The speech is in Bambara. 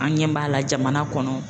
An ɲɛ b'a la jamana kɔnɔ